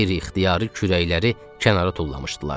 Qeyri-ixtiyari kürəkləri kənara tullamışdılar.